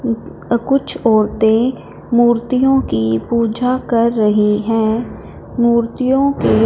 अ कुछ औरतें मूर्तियों की पूजा कर रही हैं मूर्तियों के--